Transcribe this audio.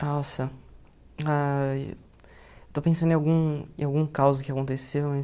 Nossa, ai estou pensando em algum em algum caos que aconteceu, mas...